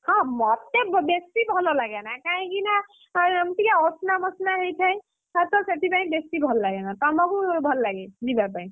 ହଁ ମତେ ବେଶି ଭଲ ଲାଗେନା କାହିଁକିନା, ଯେମିତିକା ଅସନା ମସନା ହେଇଥାଏ, ଖାସ୍ ତ ସେଥିପାଇଁ ବେଶି ଭଲ ଲାଗେନା, ତମକୁ ଭଲଲାଗେ ଯିବା ପାଇଁ?